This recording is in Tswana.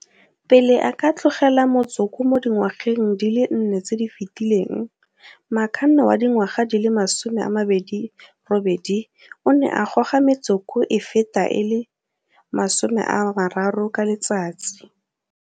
Pele a ka tlogela motsoko mo dingwageng di le nne tse di fetileng, Makhanda wa dingwaga di le 28 o ne a goga metsoko e feta e le 30 ka letsatsi.